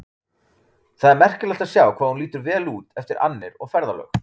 Það er merkilegt að sjá hvað hún lítur vel út eftir annir og ferðalög.